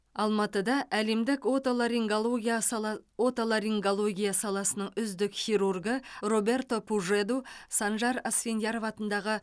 алматыда әлемдік отоларингология сала отоларингология саласының үздік хирургы роберто пужеду санжар асфендияров атындағы